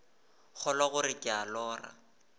kgolwa gore ke a lora